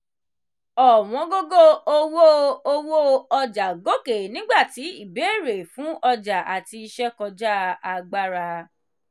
ọ̀wọ́ngógó owó owó ọjà gòkè nígbà tí ìbéèrè fún ọjà àti iṣẹ́ kọjá agbára